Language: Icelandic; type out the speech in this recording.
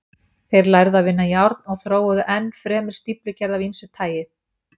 Þeir lærðu að vinna járn og þróuðu enn fremur stíflugerð af ýmsu tagi.